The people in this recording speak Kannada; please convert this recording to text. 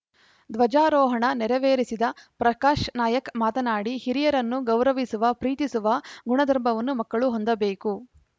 ಧ್ವಜಾರೋಹಣ ನೆರವೇರಿಸಿದ ಪ್ರಕಾಶ್‌ ನಾಯಕ್ ಮಾತನಾಡಿ ಹಿರಿಯರನ್ನು ಗೌರವಿಸುವ ಪ್ರೀತಿಸುವ ಗುಣಧರ್ಮವನ್ನು ಮಕ್ಕಳು ಹೊಂದಬೇಕು